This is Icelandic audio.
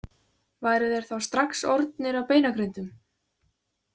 Væru þeir þá strax orðnir að beinagrindum?